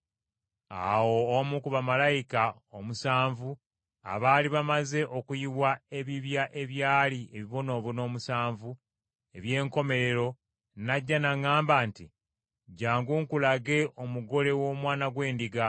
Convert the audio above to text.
Awo omu ku bamalayika omusanvu abaali bamaze okuyiwa ebibya ebyalimu ebibonoobono omusanvu eby’enkomerero n’ajja n’aŋŋamba nti, “Jjangu nkulage omugole w’Omwana gw’Endiga.”